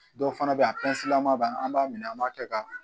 Dɔw fana bɛ yen a lama b'a la an b'a minɛ an b'a kɛ ka